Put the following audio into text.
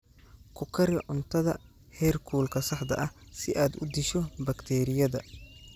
Ku kari cuntada heerkulka saxda ah si aad u disho bakteeriyada.